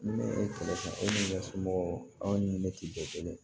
Ni ne kɛlɛ o somɔgɔw aw ni ne tɛ bɛɛ kelen ye